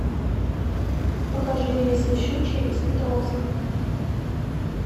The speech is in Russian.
покажи рейсы в щучье из петровска